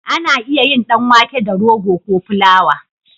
Ana iya yin dan wake da rogo ko fulawa